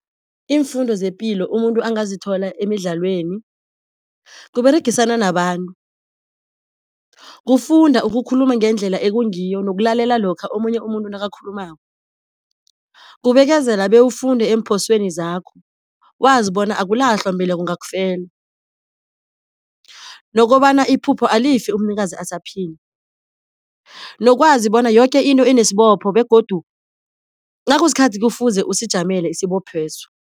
Iimfundo zepilo umuntu angazithola emidlalweni kUberegisana nabantu, kufunda ukukhuluma ngendlela ekungiyo nokulalela lokha omunye umuntu nakakhulumako, kubekezela bewufunde eemphosweni zakho wazi bona akulahlwa mbeleko ngakufelwa. Nokobana iphupho alifi umnikazi asaphila, nokwazi bona yoke into inesibopho begodu nakusikhathi kufuze usijamele isibopho leso.